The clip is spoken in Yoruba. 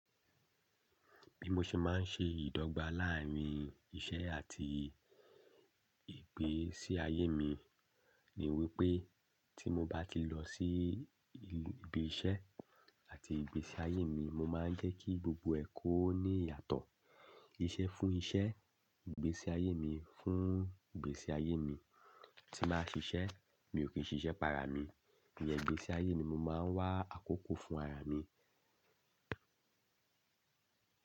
Bí mo ṣe máa ń ṣe ìdọ́gba láàrín iṣẹ́ àti ìgbésí ayé mi ni wípé tí mo bá ti lọ sí ibi iṣẹ́ àti ìgbésí ayé mi, mo máa ń jẹ́ kí gbogbo ẹ̀ kó ní ìyàtọ̀. Iṣẹ́ fún iṣẹ́, ìgbésí ayé mi fún ìgbésí ayé mi. Tí bàá n ṣiṣẹ́ mi ò kí n ṣiṣẹ́ para mi, iyẹn ìgbésí ayé ni mo máa ń wá àkókò fún ara mi.